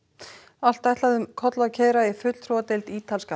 allt ætlaði um koll að keyra í fulltrúadeild ítalska